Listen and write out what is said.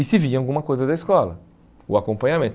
E se via alguma coisa da escola, o acompanhamento.